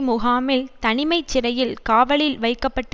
முகாமில் தனிமைச்சிறையில் காவலில் வைக்க பட்டு